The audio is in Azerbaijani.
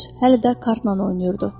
Corc hələ də kartla oynayırdı.